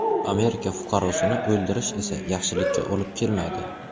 Amerika fuqarosini o‘ldirish esa yaxshilikka olib kelmaydi.